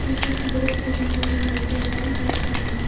कुछ बॉक्स भी दिख रही है जो लाल कलर का है।